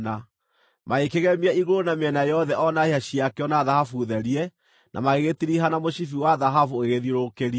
Magĩkĩgemia igũrũ na mĩena yothe o na hĩa ciakĩo na thahabu therie na magĩgĩtiriha na mũcibi wa thahabu ũgĩgĩthiũrũrũkĩria.